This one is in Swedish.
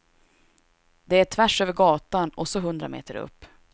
Det är tvärsöver gatan och så hundra meter upp.